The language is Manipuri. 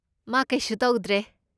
ꯃꯥ ꯀꯩꯁꯨ ꯇꯧꯗ꯭ꯔꯦ꯫